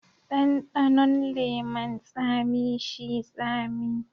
Dandanon leman tsami shi tsami.